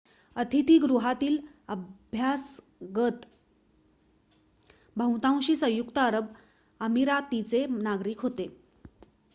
अतिथी गृहातील अभ्यागत बहुतांशी संयुक्त अरब अमिरातीचे नागरिक होते